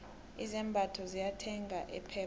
izambatho ziyathengeka epep